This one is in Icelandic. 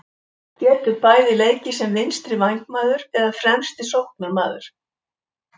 Getur bæði leikið sem vinstri vængmaður eða fremsti sóknarmaður.